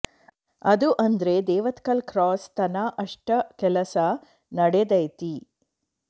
ಅದೂ ಅಂದ್ರ ದೇವತ್ಕಲ್ ಕ್ರಾಸ್ ತನಾ ಅಷ್ಟ ಕೆಲಸ ನಡೆದೈತಿ